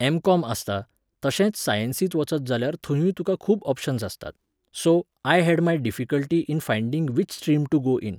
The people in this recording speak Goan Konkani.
एम्.कॉम. आसता, तशेंच सायेन्सींत वचत जााल्यार थंयूय तुका खूब ऑप्शन्स आसतात. So, I had my difficulty in finding which stream to go in